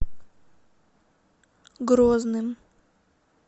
грозным